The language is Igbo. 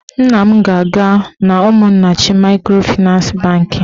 Nna m ga-aga n'Umunnachi maịkrofịnans bankị